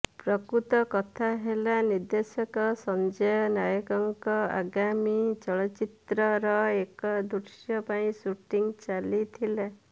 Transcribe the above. ପ୍ରକୃତ କଥା ହେଲା ନିର୍ଦ୍ଦେଶକ ସଂଜୟ ନାୟକଙ୍କ ଆଗାମୀ ଚଳଚ୍ଚିତ୍ରର ଏକ ଦୃଶ୍ୟ ପାଇଁ ସୁଟିଂ ଚାଲିଥିଲା